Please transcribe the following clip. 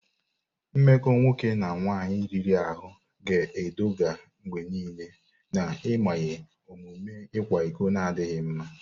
Mmekọ nwoke na nwaanyị riri ahụ ga-eduga mgbe niile n'mmanye omume ịkwa iko na adịghị mma.